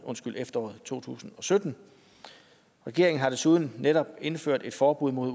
to tusind og sytten regeringen har desuden netop indført et forbud mod